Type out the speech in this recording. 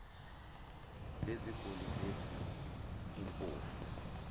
leziguli zethi limpofu